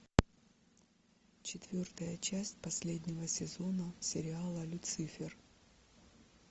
четвертая часть последнего сезона сериала люцифер